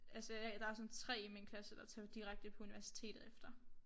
Altså øh der sådan 3 i min klasse der tager dirkete på universitetet efter